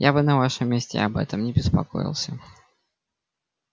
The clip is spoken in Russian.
я бы на вашем месте об этом не беспокоился